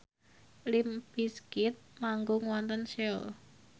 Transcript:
limp bizkit manggung wonten Seoul